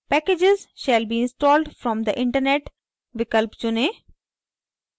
packages shall be installed from the internet विकल्प चुनें